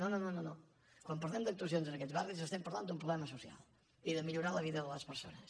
no no no quan parlem d’actuacions en aquests barris estem parlant d’un problema social i de millorar la vida de les persones